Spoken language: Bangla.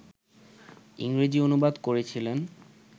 ইংরেজি অনুবাদ করেছিলেন